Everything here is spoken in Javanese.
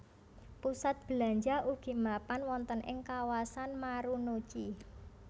Pusat belanja ugi mapan wonten ing kawasan Marunouchi